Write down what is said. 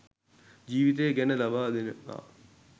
ජීවිතය ගැන ලබා දෙනවා